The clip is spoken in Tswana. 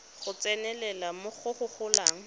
go tsenelela go go golang